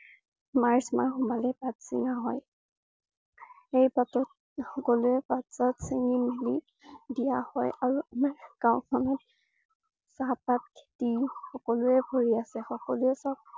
March মাহ সোমালে পাত ছিঙা হয়। সেই পাতত সকলোৱে পাত পাত চিঙি নি দিয়া হয় আৰু আমাৰ গাওঁ খনত চাহ পাত খেতি সকলোৰে ভৰি আছে। সকলোৱে সব